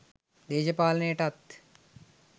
දේශපාලනයටත්